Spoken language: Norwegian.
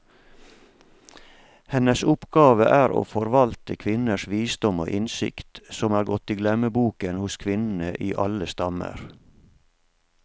Hennes oppgave er å forvalte kvinners visdom og innsikt, som er gått i glemmeboken hos kvinnene i alle stammer.